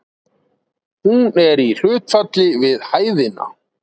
Hún er í hlutfalli við hæðina.